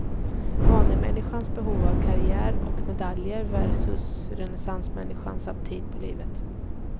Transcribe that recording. Vanemänniskans behov av karriär och medaljer versus renässansmänniskans aptit på livet.